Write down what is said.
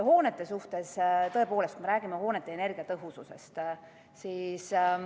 Hoonete puhul, tõepoolest, me räägime nende energiatõhususest.